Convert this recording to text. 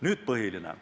Nüüd põhilisest.